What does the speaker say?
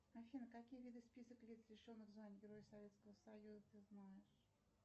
афина какие виды список лиц лишенных звания герой советского союза ты знаешь